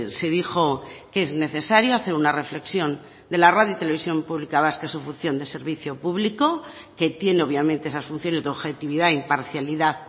se dijo que es necesario hacer una reflexión de la radio televisión pública vasca en su función de servicio público que tiene obviamente esas funciones de objetividad imparcialidad